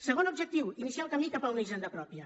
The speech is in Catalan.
segon objectiu iniciar el camí cap a una hisenda pròpia